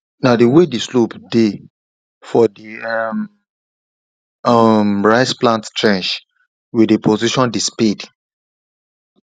na the way the slope dey for the um um rice plant trench we dey position the spade